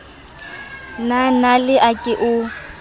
la nale a ke o